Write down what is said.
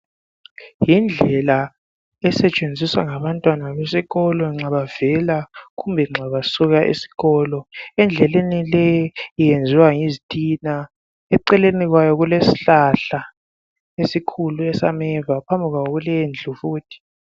Yindlela esetshenziswa ngabantwana besikolo nxa bevela kumbe besuka esikolo. Indlela le iyenziwa ngezitina. Eceleni kwabo kulesihlahla esikhulu esameva. Phambikwabo kulendlu futhi.